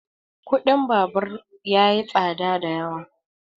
kuɗin babur ya yi tsada da yawa